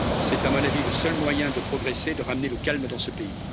C'est à mon avis le seul moyen de progresser et de ramener le calme dans ce pays.